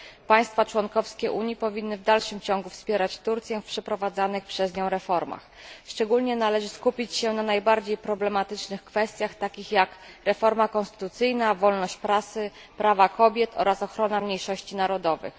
Państwa członkowskie Unii powinny w dalszym ciągu wspierać Turcję w przeprowadzanych przez nią reformach. Należy skupić się szczególnie na najbardziej problematycznych kwestiach, takich jak reforma konstytucyjna, wolność prasy, prawa kobiet oraz ochrona mniejszości narodowych.